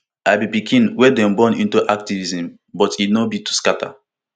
i be pikin wey dey born into activism but no be to scata